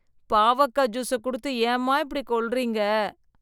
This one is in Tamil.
பாவக்காய் ஜுஸ குடுத்து ஏம்மா இப்படி கொல்றீங்க?